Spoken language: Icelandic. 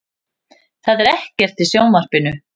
Það er ekkert í sjónvarpinu.